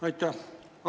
Aitäh!